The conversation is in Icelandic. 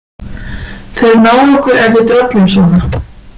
Þeir ná okkur ef við drollum svona